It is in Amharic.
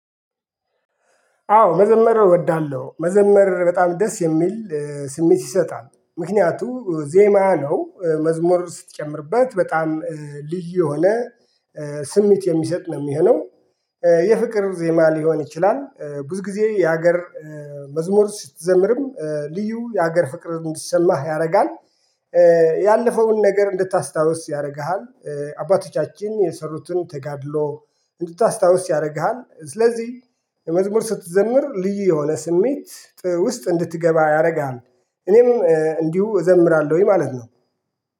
አዎ መዘመር እወዳለሁ መዘመር በጣም ደስ የሚል ስሜት ይሰጣል ምክንያቱም ዜማ ነው መዝሙር ስትጨምርበት በጣም ልዩ የሆነ ስሜት የሚሰጥ ነው የሚሆነው። የፍቅር ዜማ ሊሆን ይችላል ብዙ ጊዜ የሀገር መዝሙር ስትዘምርም ልዩ የሀገር ፍቅር እንዲሰማህ ያደርጋል። ያለፈውን ነገር እንድታስታውስ ያደርግሃል አባቶቻችን የሰሩትን ተጋድሎ እንድታስታውስ ያደርግሃል። ስለዚህ መዝሙር ስትዘምር ልዩ የሆነ ስሜት ውስጥ እንድትገባ ያደርጋል። እኔም እንዲሁ እዘምራለሁኝ ማለት ነው